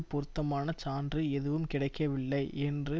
பொருத்தமான சான்று எதுவும் கிடைக்கவில்லை என்று